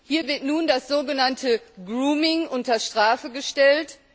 Hier wird nun das so genannte Grooming unter Strafe gestellt.